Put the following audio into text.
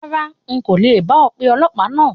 Rárá, n kò le bá ọ pe ọlọ̀pàá náà.